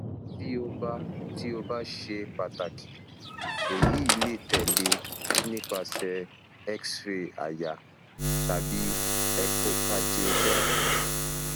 ti o ba ti o ba ṣe pataki eyi le tẹle nipasẹ xray àyà tabi echocardiography